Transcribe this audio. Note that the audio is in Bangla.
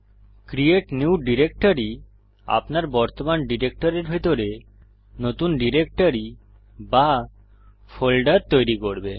ক্রিয়েট নিউ ডিরেক্টরি আপনার বর্তমান ডিরেক্টরির ভিতরে নতুন ডিরেক্টরি বা ফোল্ডার তৈরী করবে